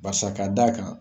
Barisa ka d'a kan